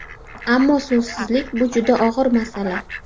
Ammo suvsizlik, bu juda og‘ir masala.